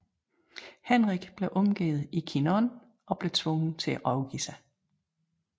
Henrik blev omgivet i Chinon og blev tvunget til at overgive sig